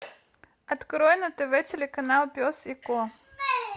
открой на тв телеканал пес и ко